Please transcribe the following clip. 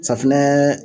Safinɛ